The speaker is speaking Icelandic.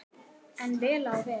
En vel á veg.